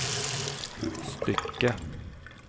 stycke